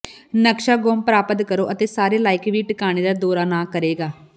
ਨਕਸ਼ਾ ਗੁੰਮ ਪ੍ਰਾਪਤ ਕਰੋ ਅਤੇ ਸਾਰੇ ਲਾਇਕ ਵੀ ਟਿਕਾਣੇ ਦਾ ਦੌਰਾ ਨਾ ਕਰੇਗਾ